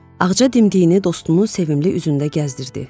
Ağca dimdiyini dostunun sevimli üzündə gəzdirirdi.